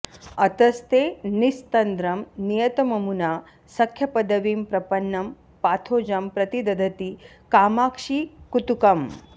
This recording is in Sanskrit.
अतस्ते निस्तन्द्रं नियतममुना सख्यपदवीं प्रपन्नं पाथोजं प्रति दधति कामाक्षि कुतुकम्